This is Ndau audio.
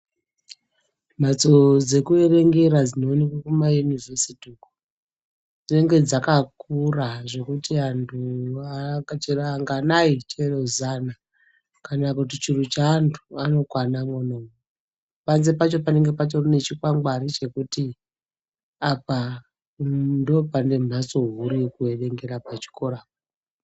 Mhatso dzeku erengera dzino onekwe kuma yunivhesiti uko dzinenge dzaka kura zvekuti antu chero anganai chero zana kana kuti churu che antu vano kwana mwona panze pacho panenge patori ne chikwangwari chekuti apa ndo pane mhatso huru yeku erengera pa chikora.